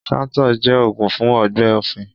Shaltoux jẹ́ oògún fún ọgbẹ́ ọ̀fun